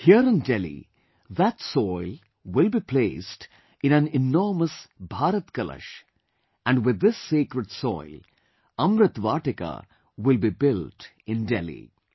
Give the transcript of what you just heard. Here in Delhi, that soil will be put in an enormous Bharat Kalash and with this sacred soil, 'Amrit Vatika' will be built in Delhi